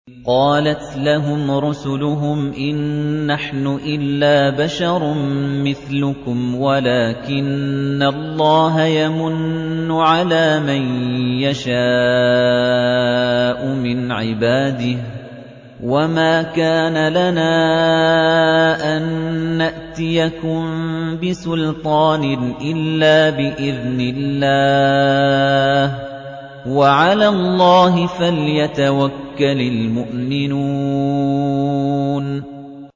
قَالَتْ لَهُمْ رُسُلُهُمْ إِن نَّحْنُ إِلَّا بَشَرٌ مِّثْلُكُمْ وَلَٰكِنَّ اللَّهَ يَمُنُّ عَلَىٰ مَن يَشَاءُ مِنْ عِبَادِهِ ۖ وَمَا كَانَ لَنَا أَن نَّأْتِيَكُم بِسُلْطَانٍ إِلَّا بِإِذْنِ اللَّهِ ۚ وَعَلَى اللَّهِ فَلْيَتَوَكَّلِ الْمُؤْمِنُونَ